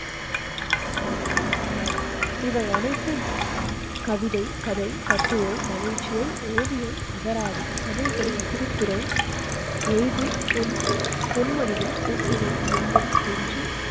இவை அனைதும் கவிதை கதை, கட்டுரை, நகைச்சுவை, ஓவியம், அகராதி தமிழ் படி திருக்குறள் எழுது, பொன்மொழிகள், போட்டிகள் எண்ணம் என்று